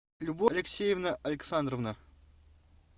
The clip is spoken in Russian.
любовь алексеевна александровна